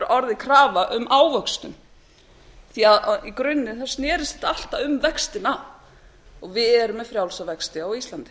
orðið krafa um ávöxtun því að í grunninn snerist þetta alltaf um vextina og við erum með frjálsa vexti á íslandi